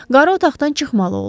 Qarı otaqdan çıxmalı oldu.